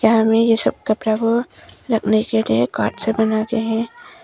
हमें ये सब कपड़ा वो रखने के लिए कार्ड से बनाते हैं।